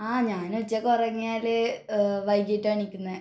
ആഹ് ഞാൻ ഉച്ചക്ക് ഉറങ്ങിയാല് വൈകിട്ടാണ് എണീക്കുന്നത്